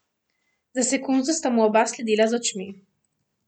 Za sekundo sta mu oba sledila z očmi.